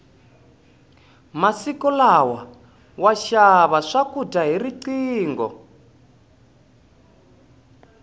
masiku lama wa xava swakudya hi riqingho